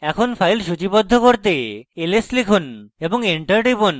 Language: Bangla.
এখন files সূচীবদ্ধ করতে লিখুন ls এবং enter টিপুন